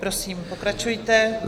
Prosím, pokračujte.